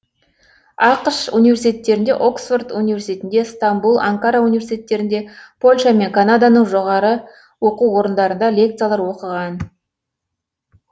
ақш университеттерінде оксфорд университетінде стамбұл анкара университеттерінде польша мен канаданың жоғары оқу орындарында лекциялар оқыған